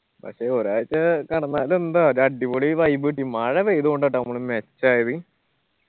പക്ഷെ ഒരാഴ്ച കിടന്നാല് എന്താ ഒരു അടിപൊളി vibe കിട്ടി. മഴ പെയിതൊണ്ട ട്ടാ നമ്മള് മെച്ചമായത്